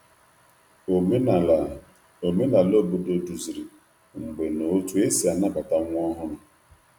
Omenala Omenala obodo duziri mgbe na otú e si anabata nwa ọhụrụ.